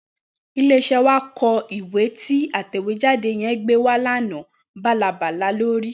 Ilé-iṣẹ́ wa kọ ìwé tí atẹ̀wéjáde yẹn gbé wá lánàá, bálabàla ló rí.